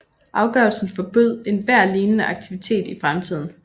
Afgørelsen forbød enhver lignende aktivitet i fremtiden